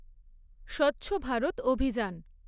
স্বচ্ছ ভারত অভিযান